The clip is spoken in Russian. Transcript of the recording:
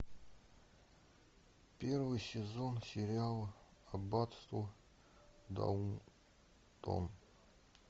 первый сезон сериала аббатство даунтон